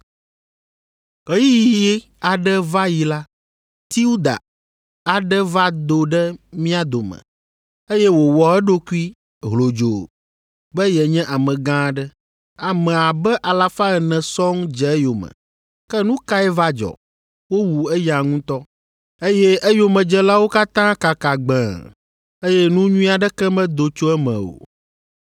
Ɣeyiɣi aɖe va yi la, Teuda aɖe va do ɖe mía dome, eye wòwɔ eɖokui hlodzoo be yenye amegã aɖe. Ame abe alafa ene sɔŋ dze eyome. Ke nu kae va dzɔ? Wowu eya ŋutɔ, eye eyomedzelawo katã kaka gbẽe, eye nu nyui aɖeke medo tso eme o.